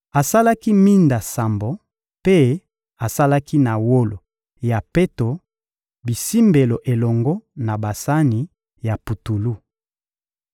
Asalaki minda sambo; mpe asalaki na wolo ya peto bisimbelo elongo na basani ya putulu.